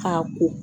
K'a ko